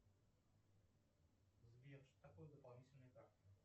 сбер что такое дополнительные карты